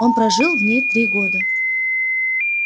он прожил в ней три года